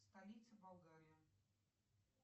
столица болгарии